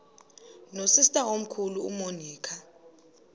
nosister omkhulu umonica